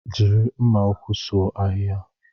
Jiri mma ukwu suo ahịhịa.